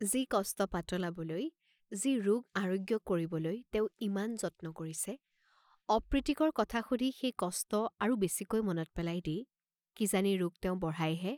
যি কষ্ট পাতলাবলৈ, যি ৰোগ আৰোগ্য কৰিবলৈ তেওঁ ইমান যত্ন কৰিছে, অপ্ৰীতিকৰ কথা শুধি সেই কষ্ট আৰু বেচিকৈ মনত পেলাই দি, কি জানি ৰোগ তেওঁ বঢ়ায় হে।